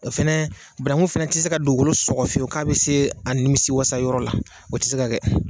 O fana bananku fana tɛ se ka dugukolo sɔgɔ fiyewu k'a bɛ se a nimisiwasa yɔrɔ la o tɛ se ka kɛ